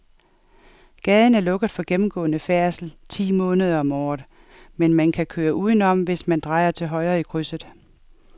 Gaden er lukket for gennemgående færdsel ti måneder om året, men man kan køre udenom, hvis man drejer til højre i krydset.